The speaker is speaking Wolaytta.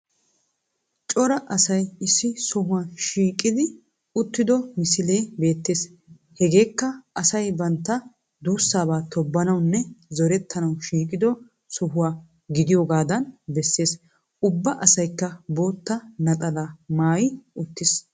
Cora asay issi sohuwa shiqqidi uttido misile beettees. hegekka asay banttaa dussaba tobbanawunne zorettanawu shiqqido sohuwa gidiyogadaan beessees. Ubba asaykka bottaa naxalaa maayii uttis.